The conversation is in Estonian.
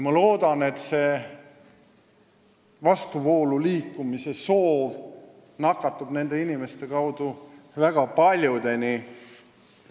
Ma loodan, et see vastuvoolu liikumise soov nakatab nende inimeste kaudu väga paljusid.